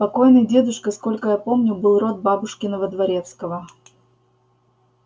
покойный дедушка сколько я помню был род бабушкиного дворецкого